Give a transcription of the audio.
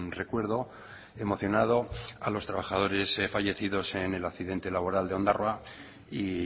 recuerdo emocionado a los trabajadores fallecidos en el accidente laboral de ondarroa y